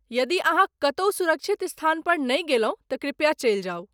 यदि अहाँ कतहु सुरक्षित स्थानपर नहि गेलहुँ तँ कृपया चलि जाउ।